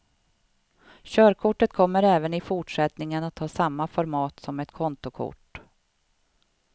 Körkortet kommer även i fortsättningen att ha samma format som ett kontokort.